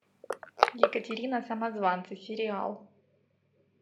екатерина самозванцы сериал